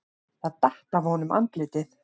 Það datt af honum andlitið.